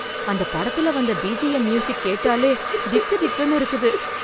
அந்த படத்துல வந்த பிஜிஎம் மியூசிக் கேட்டாலே திக் திக்குன்னு இருக்குது.